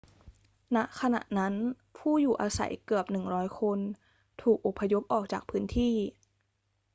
ณ ขณะนั้น ผู้อยู่อาศัยเกือบ 100 คนถูกอพยพออกจากพื้นที่